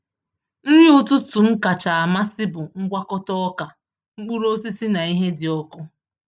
Nri ụtụtụ m kacha amasị bụ ngwakọta ọka, mkpụrụ osisi, na ihe dị ọkụ.